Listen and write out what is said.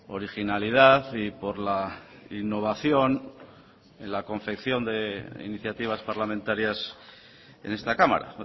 originalidad y por la innovación en la confección de iniciativas parlamentarias en esta cámara